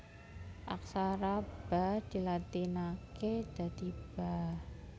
Aksara Ba dilatinaké dadi Ba